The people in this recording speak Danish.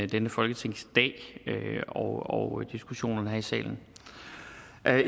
denne folketingsdag og diskussionerne her i salen